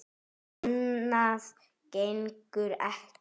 Annað gengur ekki.